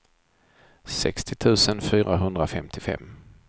sextio tusen fyrahundrafemtiofem